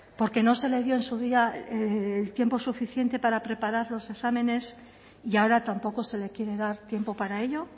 porque no se le dio en su día el tiempo suficiente para preparar los exámenes y ahora tampoco se le quiere dar tiempo para ello